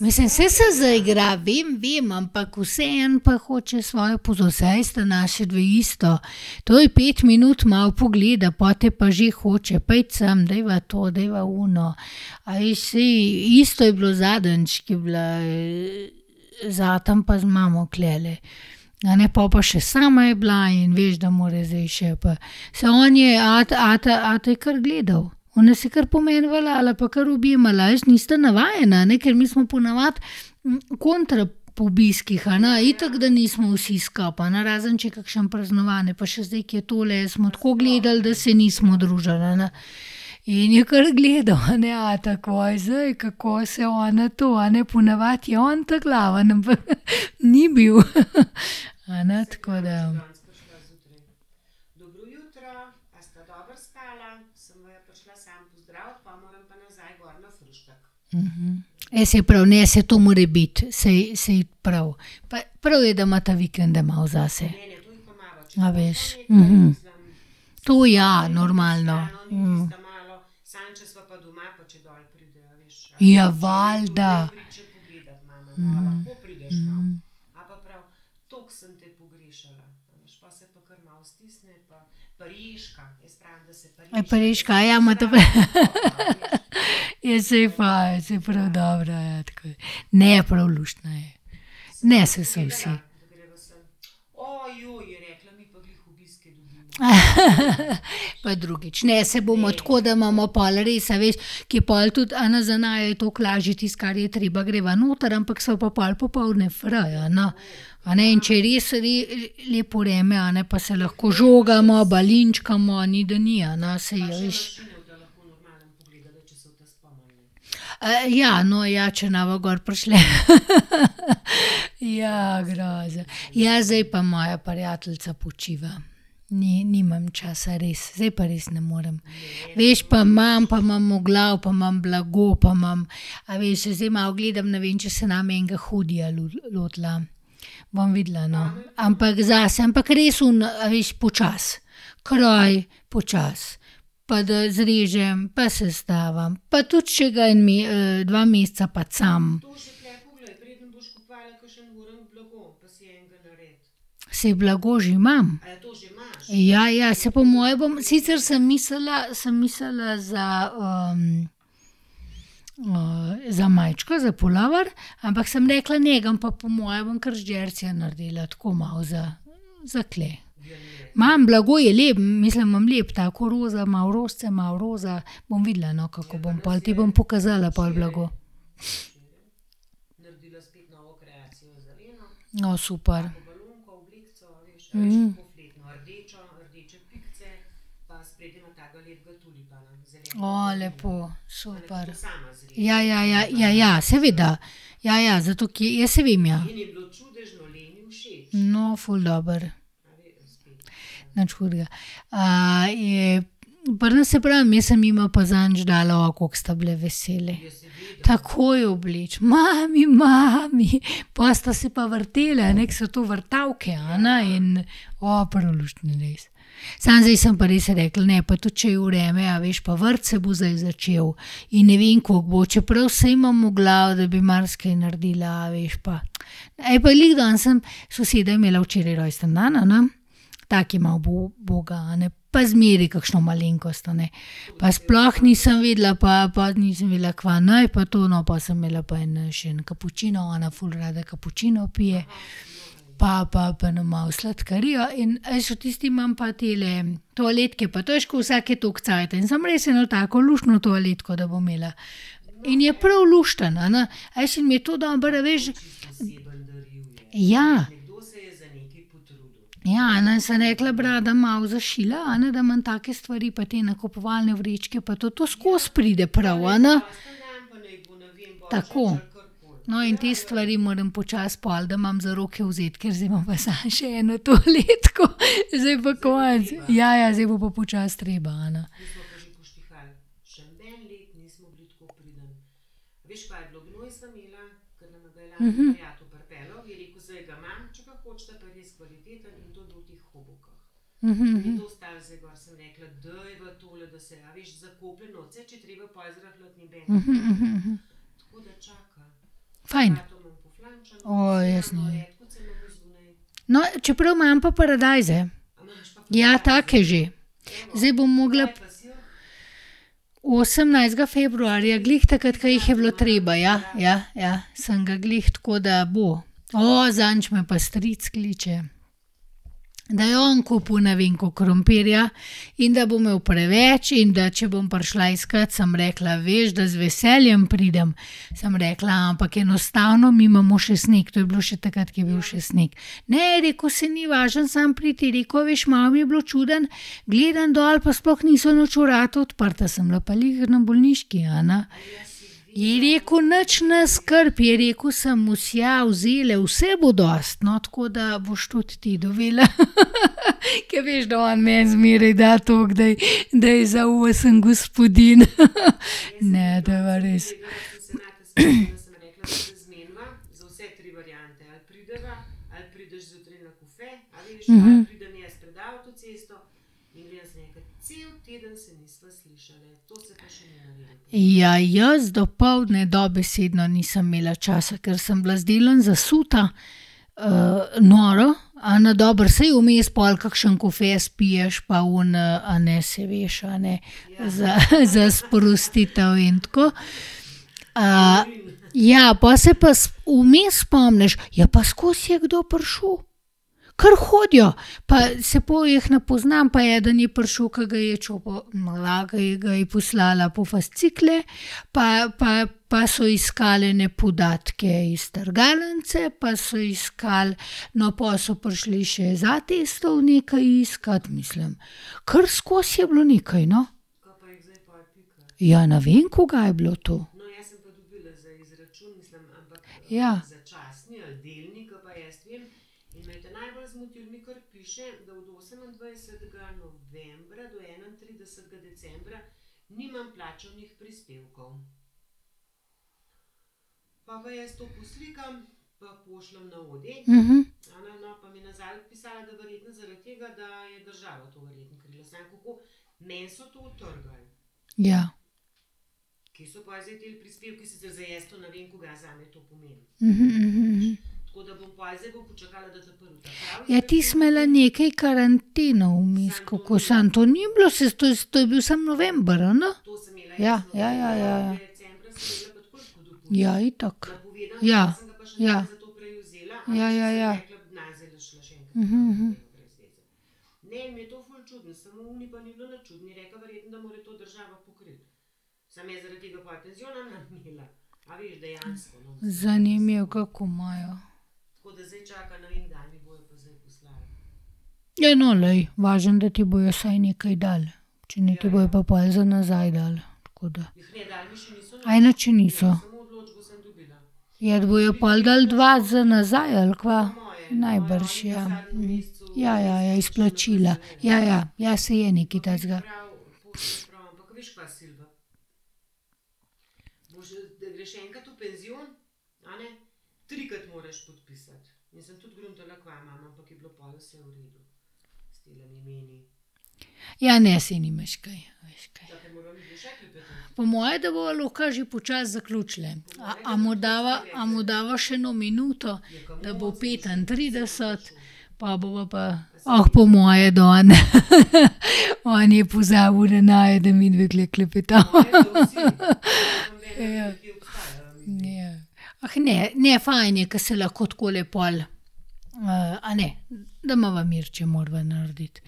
Mislim, saj se zaigra vem, vem, ampak vseeno pa hoče svojo pozornost. Saj sta naši dve isto. To je, pet minut malo pogleda, pol te pa že hoče. Pojdi sem, dajva to, dajva ono. A veš, saj isto jo bilo zadnjič, ko je bila, z atom pa z mamo tulele. A ne, po pa še sama je bila in veš, da mora zdaj še pa ... Saj on je, ata, ata, je kar gledal. Ona se je kar po meni valjala pa kar objemala, a veš. Nista navajena, a ne, ker mi smo po navadi kontra po obiskih, a ne, itak da nismo vsi skupaj, a ne, razen če je kakšno praznovanje. Pa še zdaj, ke je tole, smo tako gledali, da se nismo družili, a ne. In je kar gledal, a ne, ata, kaj je zdaj, kako se ona to, a ne. Po navadi je on ta glavni, ampak ni bil, a ne, tako da. Ja, saj prav. Ne, saj to more biti. Saj, saj prav. Pa prav je, da imata vikende malo zase. A veš. To ja, normalno. Ja, valjda. A preška. imate ... Ja, saj fajn, saj prav dobro, ja, tako da ... Ne, prav, luštno je. Ne, saj so vsi. Pa drugič. Ne, saj bomo tako, da imamo pol res, a veš, ke je pol tudi, a ne, za naju je toliko lažje. Tisto, kar je treba, greva noter, ampak sva pa pol popoldne fraj, a ne. A ne, in če je res lepo vreme, a ne, pa se lahko žogamo, balinčkamo, ni, da ni, a ne, saj, a veš ... ja, no ja, če ne bova gor prišli. Ja, groza. Ja, zdaj pa moja prijateljica počiva. nimam časa res, zdaj pa res ne morem. Veš, pa imam, pa imam v glavi, pa imam blago, pa imam ... A veš, saj zdaj malo gledam, ne vem, če se ne bom enega hoodieja lotila. Bom videla, no. Ampak, zase, ampak res oni, a veš, počasi. Kroj, počasi. Pa da zrežem, pa sestavim, pa tudi če ga en dva meseca pacam. Saj blago že imam. Ja, ja, saj po moje bom ... Sicer sem mislila, sem mislila za, za majčko, za pulover, ampak sem rekla, ne, ga pa, po moje ga bom kar z džersija naredila. Tako malo za, za tule. Imam, blago je lepo. Mislim lepo, tako roza, malo rožice, malo roza. Bom videla, no, kako bom pol. Ti bom pokazala pol blago. O, super. lepo, super. Ja, ja, ja. Ja, ja, seveda. Ja, ja, zato ker, ja, saj vem, ja. No, ful dobro. Nič hudega. je, pri nas, saj pravim, jaz sem jima pa zadnjič dala. koliko sta bile vesele. Takoj obleči. Mami, mami. Po sta se pa vrteli, a ne, ke so to vrtavke, a ne, in, prav luštno je bilo, res. Samo zdaj sem pa res rekla, ne, pa tudi če je vreme, a veš, pa vrt se bo zdaj začel in ne vem, koliko bo. Čeprav saj imam v glavi, da bi marsikaj naredila, a veš, pa ... pa glih danes sem, soseda je imela včeraj rojstni dan, a ne, ta, ke je malo uboga, a ne, pa zmeraj kakšno malenkost, a ne. Pa sploh nisem vedela, pa, pa nisem vedela, kva naj pa to, no, po sem imela pa en, še en kapučino, ona ful rada kapučino pije, pa, pa, pa eno malo sladkarijo in, a veš, v tisti imam pa tele toaletke pa to, a veš, ke vsake toliko cajta. In sem res eno tako luštno toaletko, da bo imela. In je prav luštno, a ne. A veš, in mi je to dobro, a veš, ja. Ja, a ne, sem rekla: "Bi rada malo zašila, a ne, da imam take stvari, pa te nakupovalne vrečke pa to. To skozi pride prav, a ne." Tako. No, in te stvari moram počasi pol, da imam za roke vzeti, ker zdaj imam pa samo še eno toaletko. Zdaj pa konec. Ja, ja, zdaj bo pa počasi treba, a ne. Fajn. jaz ne vem. No, čeprav, imam pa paradajze. Ja, take že. Zdaj bom mogla ... Osemnajstega februarja, glih takrat, ke jih je bilo treba, ja, ja, ja. Sem ga glih, tako da bo. zadnjič me pa stric kliče, da je on kupil ne vem koliko krompirja in da bo imel preveč in da če bom prišla iskat. Sem rekla: "Veš, da z veseljem pridem." Sem rekla: "Ampak enostavno mi imamo še sneg," to je bilo še takrat, ko je bil še sneg. "Ne," je rekel, "saj ni važno, samo pridi," je rekel, a veš, malo mi je bilo čudno. Gledam dol pa sploh niso nič vrata odprta. Sem bila pa glih na bolniški, a ne. Je rekel: "Nič ne skrb," je rekel, sem vsejal zdajle, vse bo dosti. No, tako da boš tudi ti dobila." Ke veš, da on meni zmeraj da toliko, da, da je za osem gospodinj. Ne, to pa res. Ja, jaz dopoldne dobesedno nisem imela časa, ker sem bila z delom zasuta, noro, a ne. Dobro, saj vmes pol kakšen kofe spiješ pa oni, a ne, saj veš, a ne, za, za sprostitev in tako. ja, po se vmes spomniš. Ja, pa skozi je kdo prišel. Kar hodijo. saj pol jih ne poznam, pa eden je prišel, ki ga je ke, ke ga je poslala po fascikle, pa, pa, pa so iskali ene podatke iz strgalnice pa so iskal ... No, po so prišli še z Atestov nekaj iskat. Mislim, ker skozi je bilo nekaj, no. Ja, ne vem, kuga je bilo to. Ja. Ja. Ja, ti si imela nekaj karanteno vmes, kako. Samo to ni bilo, to je bil samo november, a ne. Ja. Ja, ja, ja, ja. Ja, itak. Ja. Ja. Ja, ja, ja. Zanimivo, kako imajo. Ja, no, glej. Važno, da ti bojo vsaj nekaj dali. Če ne, ti bojo pa pol za nazaj dali. nič še niso. Ja, a ti bojo pol dali dva za nazaj, ali kva? Najbrž, ja. Ja, ja, ja, izplačila. Ja, ja. Ja, saj je nekaj takega. Ja, ne, saj nimaš kaj. Po moje, da bova lahko že počasi zaključili. A, a mu dava, a mu dava še eno minuto, da bo petintrideset? Po bova pa. po moje, da on, on je pozabil na naju, da midve tule klepetava. Ja. Ja. ne. Ne, fajn je, ke se lahko takole pol, a ne. Da imava mir, če morava narediti.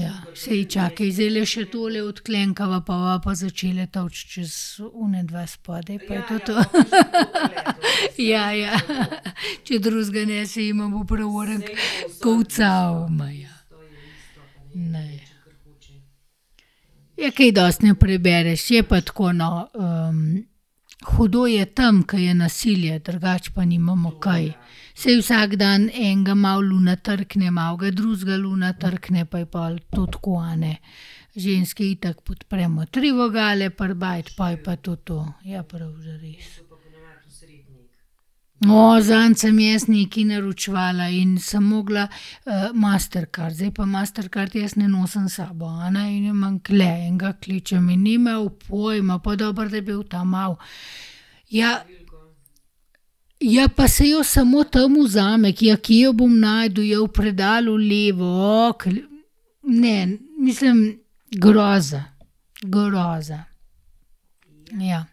Ja. Saj, čakaj, zdajle še tole odklenkava, po bova pa začele tolči čez onadva spodaj pa je to to. Ja, ja. Če drugega ne, se jima bo prav orenk kolcalo. Ne. Ja, kaj dosti ne prebereš. Je pa tako, no, hudo je tam, ke je nasilje, drugače pa nimamo kaj. Saj vsak dan enega malo luna trkne, malo ga drugega luna trkne pa je pol to tako, a ne. Ženske itak podpremo tri vogale pri bajti pol je pa to to. Ja, prav. zadnjič sem jaz nekaj naročevala in sem mogla, mastercard. Zdaj pa mastercard jaz ne nosim s sabo, a ne, in jo imam tule. In ga kličem in ni imel pojma. Pol dobro, da je bil ta mal. Ja. Ja, pa saj jo samo tam vzame. ja, kje jo bom našel? Ja, v predalu levo. ... Ne. Mislim, groza. Groza. Ja.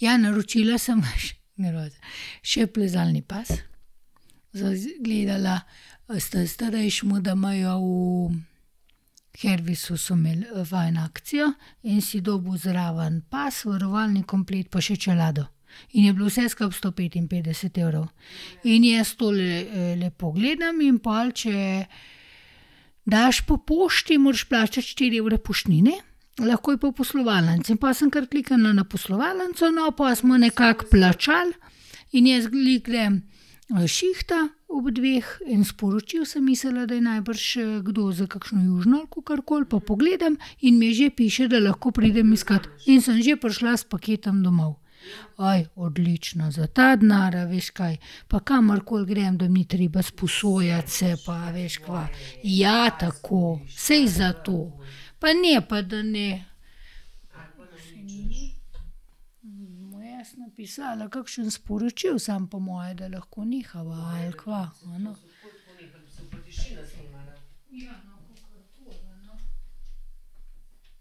Ja, naročila sem še plezalni pas. Za gledala s ta starejšim, da imajo v Hervisu, so imeli fajn akcijo. In si dobil zraven pas, varovalni komplet pa še čelado. In je bilo vse skupaj sto petinpetdeset evrov. In jaz to lepo gledam, in pol če daš po pošti, moraš plačati štiri evre poštnine, lahko je pa v poslovalnici. In pol sem kar kliknila na poslovalnico, no, pol smo nekako plačali. In jaz glih grem, s šihta ob dveh in sporočijo, sem mislila, da je najbrž, kdo za kakšno južino ali kakorkoli, pa pogledam in mi že piše, da lahko pridem iskat. In sem že prišla s paketom domov. odlično. Za ta denar, a veš, kaj? Pa kamorkoli grem, da ni treba sposojat se pa, a veš, kva. Ja, tako. Saj zato. Pa ne, pa da ne ... Mu jaz napisala kakšno sporočilo? Samo po moje, da lahko nehava, ali kva?